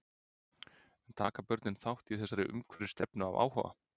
En taka börnin þátt í þessari umhverfisstefnu af áhuga?